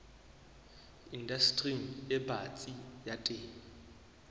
indastering e batsi ya temo